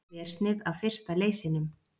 Þversnið af fyrsta leysinum.